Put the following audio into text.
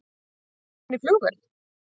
Kom hann í flugvél?